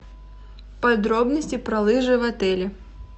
подробности про лыжи в отеле